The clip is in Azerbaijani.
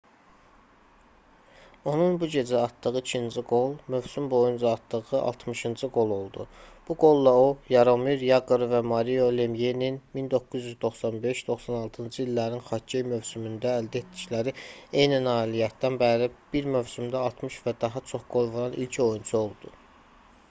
onun bu gecə atdığı ikinci qol mövsüm boyunca atdığı altmışıncı qol oldu. bu qolla o yaromir yaqr və mario lemyenin 1995-96-cı illərin xokkey mövsümündə əldə etdikləri eyni nailiyyətdən bəri bir mövsümdə 60 və daha çox qol vuran ilk oyunçu oldu